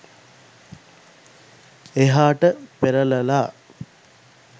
එහාට පෙරලලා